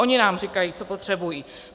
Ony nám říkají, co potřebují.